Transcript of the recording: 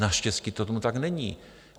Naštěstí to tomu tak není.